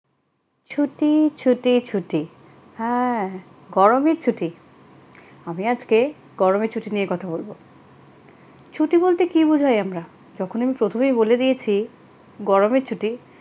ছুটি ছুটি ছুটি হ্যাঁ গরমের ছুটি আমি আজকে গরমের ছুটি নিয়ে কথা বলব ছুটি বলতে কী বোঝায় আমরা তখনই আমি প্রথমেই বলে দিয়েছি গরমের ছুটি,